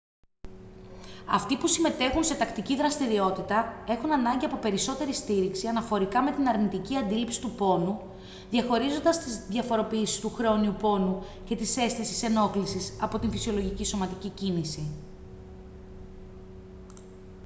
αυτοί που συμμετέχουν σε τακτική δραστηριότητα έχουν ανάγκη από περισσότερη στήριξη αναφορικά με την αρνητική αντίληψη του πόνου διαχωρίζοντας τις διαφοροποιήσεις του χρόνιου πόνου και της αίσθησης ενόχλησης από την φυσιολογική σωματική κίνηση